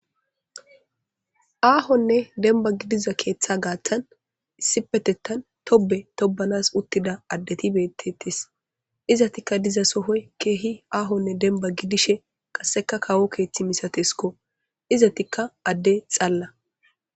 Ahonne demibba gidida keeththa gaththani issippetethani tobe tobsnasi uttidi betetesi izetikja dizassdoyi kehi daligga demiba gidishini qasekka kawo keeththi misatesikko izetikja adde xaala